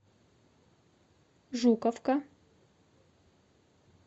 жуковка